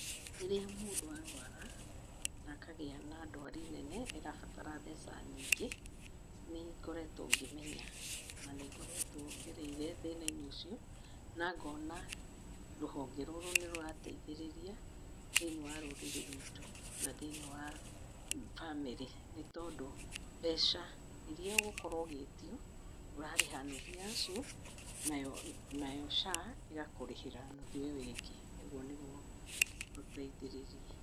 Rĩrĩa mũndũ arwara, na akagĩa na ndwari nene ĩrabatara mbeca nyingĩ, nĩngoretũo ngĩmenya, na nĩngoretwo ngereire thĩna-inĩ ũcio, na ngona rũhonge rũrũ nĩrũrateithĩrĩria, thĩiniĩ wa rũrĩrĩ rwitũ, na thĩiniĩ wa famĩrĩ, nĩtondũ, mbeca iria ũgũkorwo ũgĩtio, ũrarĩha nuthu yacio, nayo Sha ĩgakũrĩhĩra nuthu ĩyo ĩngĩ. Ũguo nĩguo ũteithĩrĩrie.